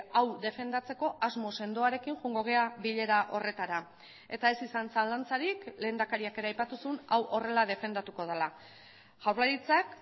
hau defendatzeko asmo sendoarekin joango gara bilera horretara eta ez izan zalantzarik lehendakariak ere aipatu zuen hau horrela defendatuko dela jaurlaritzak